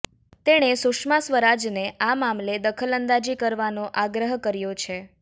તેણે સુષ્મા સ્વરાજને આ મામલે દખલઅંદાજી કરવાનો આગ્રહ કર્યો છે